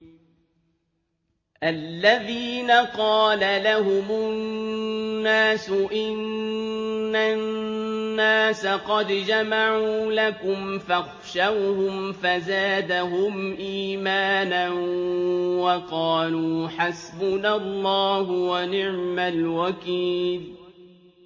الَّذِينَ قَالَ لَهُمُ النَّاسُ إِنَّ النَّاسَ قَدْ جَمَعُوا لَكُمْ فَاخْشَوْهُمْ فَزَادَهُمْ إِيمَانًا وَقَالُوا حَسْبُنَا اللَّهُ وَنِعْمَ الْوَكِيلُ